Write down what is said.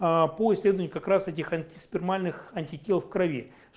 пусть они как раз этих антиспермальных антител в крови